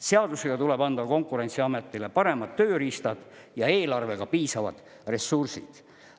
Seadusega tuleb anda Konkurentsiametile paremad tööriistad ja eelarvega piisavad ressursid.